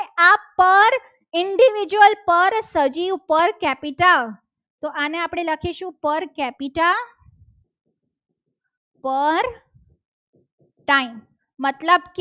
per Capita તો આને આપણે લખીશું. પર capita પર time મતલબ